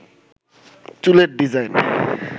চুলের ডিজাইন